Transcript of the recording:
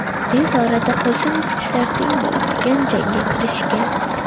Tez orada qo‘shin kuchlar teng bo‘lmagan jangga kirishgan.